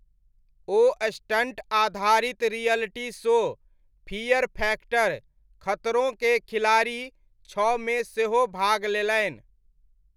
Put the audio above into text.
ओ stunt आधारित reality show Fear Factor, खतरों के खिलाड़ी छओमे सेहो भाग लेलनि।